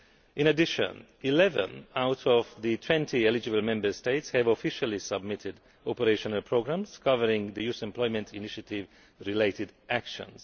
In addition, 11 out of the 20 eligible Member States have officially submitted operational programmes covering youth employment initiative related actions.